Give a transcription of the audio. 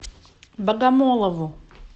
богомолову